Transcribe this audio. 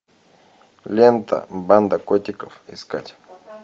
лента банда котиков искать